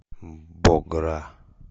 богра